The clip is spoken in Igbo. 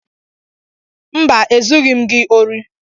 Mba, Ezughị m gị ori